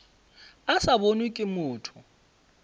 a sa bonwe ke motho